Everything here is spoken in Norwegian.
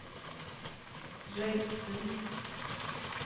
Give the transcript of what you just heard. Røyksund